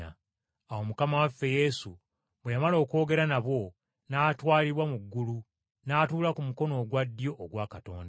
Awo Mukama waffe Yesu bwe yamala okwogera nabo, n’atwalibwa mu ggulu n’atuula ku mukono ogwa ddyo ogwa Katonda.